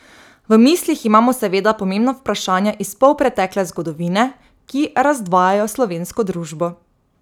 V mislih imamo seveda pomembna vprašanja iz polpretekle zgodovine, ki razdvajajo slovensko družbo.